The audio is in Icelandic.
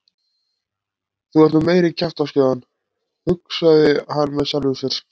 Þú ert nú meiri kjaftaskjóðan hugsaði hann með sjálfum sér.